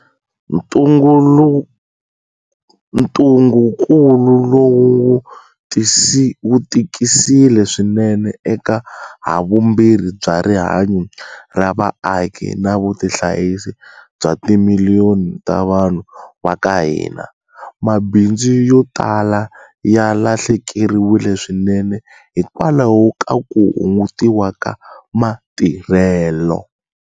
Ntungukulu lowu wu tikisile swinene eka havumbirhi bya rihanyu ra vaaki na vutihanyisi bya timiliyoni ta vanhu va ka hina. Mabindzu yo talanyana ya lahlekeriwile swinene hikwalaho ka ku hungutiwa ka matirhelo.